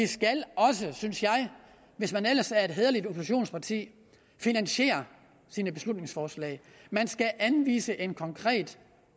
skal også synes jeg hvis man ellers er et hæderligt oppositionsparti finansiere sine beslutningsforslag man skal anvise en konkret